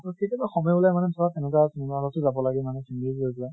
কেতিয়াবা সময় ওলাই মানে ধৰা তেনেকুৱা cinema hall তো যাব লাগে মানে